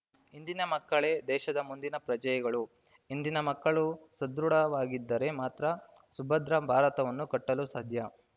ಇಂದಿನ ಮಕ್ಕಳೇ ದೇಶದ ಮುಂದಿನ ಪ್ರಜೆಯಗಳು ಇಂದಿನ ಮಕ್ಕಳು ಸದೃಢವಾಗಿದ್ದರೆ ಮಾತ್ರ ಸುಭದ್ರ ಭಾರತವನ್ನು ಕಟ್ಟಲು ಸಾಧ್ಯ